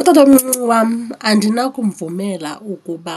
Utatomncinci wam andinakumvumela ukuba